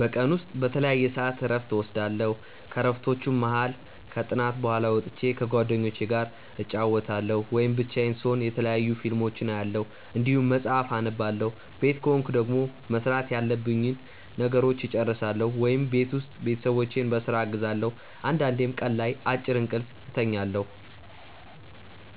በቀን ውስጥ በተለያየ ሰዐት እረፍት እወስዳለሁ። ከእረፍቶቹም መሀል ከጥናት በኋላ ወጥቼ ከጓደኞቹ ጋር እጫወታለሁ ወይም ብቻዬን ስሆን የተለያዩ ፊልሞችን አያለሁ እንዲሁም መጽሐፍ አነባለሁ ቤት ከሆንኩ ደግሞ መስራት ያሉብኝን ነገሮች እጨርሳለሁ ወይም ቤት ውስጥ ቤተሰቦቼን በስራ አግዛለሁ አንዳንዴም ቀን ላይ አጭር እንቅልፍ እተኛለሁ።